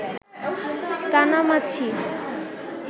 কানামাছি